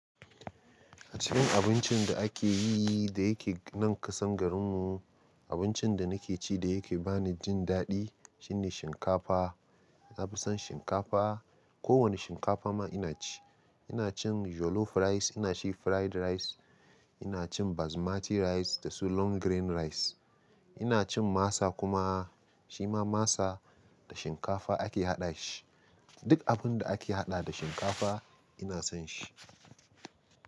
A cikin abincin da ake yi da yake nan kasan garin mu, abincin da nake ci da yake ba ni jin daɗi shine shinkafa. Na fi son shinkafa. Ko wane shinkafa ma ina ci. Ina cin jollof rice, ina cin fried rice, ina cin basmati rice da su long grain rice. Ina cin masa kuma shima masa da shinkafa ake haɗa shi. Duk abun da ake haɗa da shinkafa ina son shi.